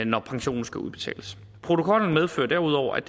når pensionen skal udbetales protokollen medfører derudover at